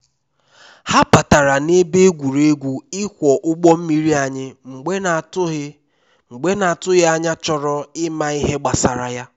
ha batara na ebe egwuregwu ịkwọ ụgbọ mmiri anyị mgbe n'atụghị mgbe n'atụghị anya chọrọ ịma ihe gbasara ya